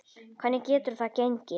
Hvernig getur það gengi?